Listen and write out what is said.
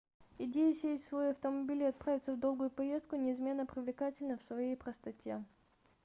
идея сесть в свой автомобиль и отправиться в долгую поездку неизменно привлекательна в своей простоте